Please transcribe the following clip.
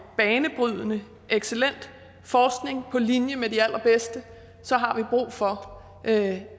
banebrydende excellent forskning på linje med de allerbedste så har vi brug for at